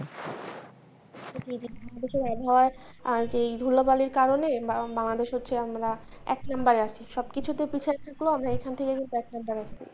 এই ধুলো বালির কারনে বাংলাদেশ হচ্ছে আমরা এক নাম্বারে আছে সব কিছু তে পিছায় থাকলেও আমরা এইখান থেকে কিন্তু